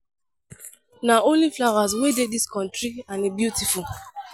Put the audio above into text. Na only flowers wey dey dis country and e beautiful